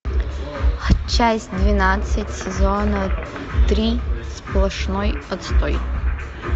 часть двенадцать сезона три сплошной отстой